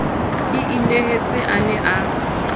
ke inehetse a ne a